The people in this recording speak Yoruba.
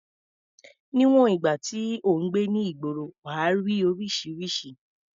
Níwọ̀n ìgbà tí ò ń gbé ní ìgboro, wà á rí oríṣiríṣi.